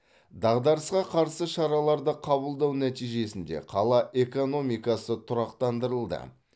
дағдарысқа қарсы шараларды қабылдау нәтижесінде қала экономикасы тұрақтандырылды